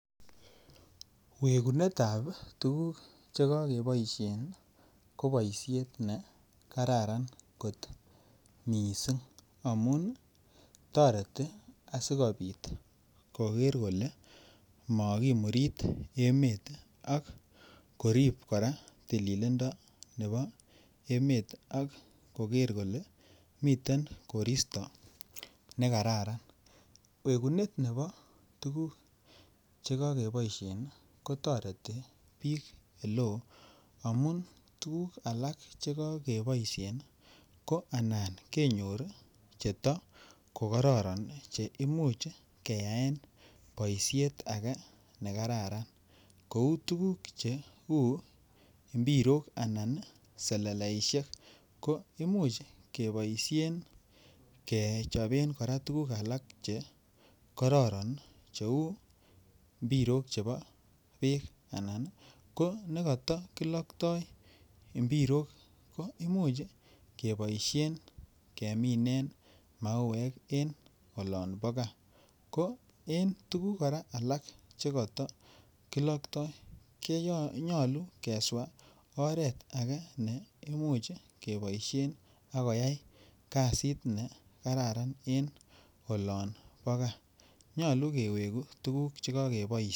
Wekunet ap tuguk che kakepaishen ko poishet ne kararan kot missing amun tareti asikopit koker kole makimurit emet ako korip tililindo nepo emet ako ker kolen miten koristo ne kararan. Wekunet nepo tuguuk che kakepaishe kotareti piik ole oo amun tuguk alak che kakepaishe ko alan kenyor che ta ko kararan che much keyaen poishet age ne kararan kou tuguk che u mbirok anan seleleishek. Ko imuch kepaishen kechapen tuguk alak che kararan che u mbirok che pa peek anan ko nekatakilaktai imbirok ko imuch kepaishen keminen mauek eng' olan pa gaa. Ko en tuguk alak che katakilaktai kenyalu keswach oret age ne imuch kepaishen ak koyai kasit ne kararan en olan pa gaa. Nyalu keweku tuguk che kakepaishen.